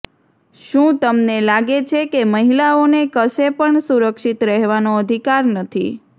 શું તમને લાગે છે કે મહિલાઓને કશે પણ સુરક્ષિત રહેવાનો અધિકાર નથી